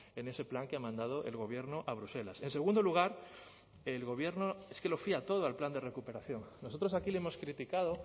en ese plan que ha mandado el gobierno a bruselas en segundo lugar el gobierno es que lo fía todo al plan de recuperación nosotros aquí le hemos criticado